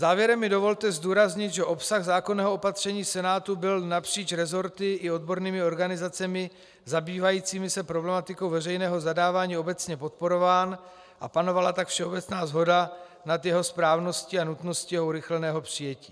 Závěrem mi dovolte zdůraznit, že obsah zákonného opatření Senátu byl napříč resorty i odbornými organizacemi zabývajícími se problematikou veřejného zadávání obecně podporován, a panovala tak všeobecná shoda nad jeho správností a nutností jeho urychleného přijetí.